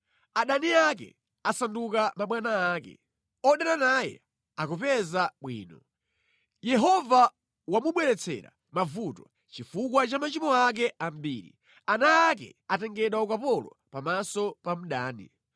Adani ake asanduka mabwana ake; odana naye akupeza bwino. Yehova wamubweretsera mavuto chifukwa cha machimo ake ambiri. Ana ake atengedwa ukapolo pamaso pa mdani.